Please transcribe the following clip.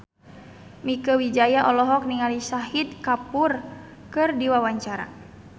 Mieke Wijaya olohok ningali Shahid Kapoor keur diwawancara